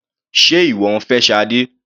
Sé ìwọ ń fẹ́ Sade?